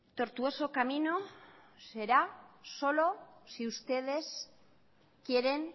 tortuoso camino será solo si ustedes quieren